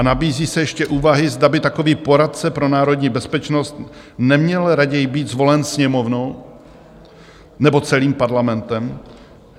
A nabízí se ještě úvahy, zda by takový poradce pro národní bezpečnost neměl raději být zvolen Sněmovnou, nebo celým Parlamentem.